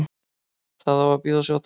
Það á að bíða og sjá til.